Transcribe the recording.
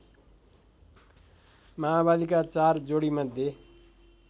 माओवादीका चार जोडीमध्ये